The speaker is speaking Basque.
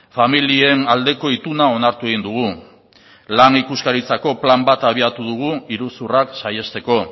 familien aldeko ituna onartu egin dugu lan ikuskaritzako plan bat abiatu dugu iruzurrak saihesteko